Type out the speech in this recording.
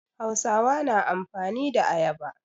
Hausawa na amfani da ayaba.